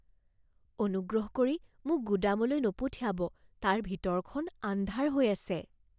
অনুগ্ৰহ কৰি মোক গুদামলৈ নপঠিয়াব। তাৰ ভিতৰখন আন্ধাৰ হৈ আছে।